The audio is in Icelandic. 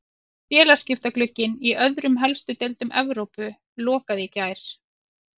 Félagaskiptaglugginn í öðrum helstu deildum Evrópu lokaði í gær.